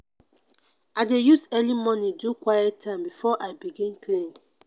i dey use early morning do quiet time before i begin clean.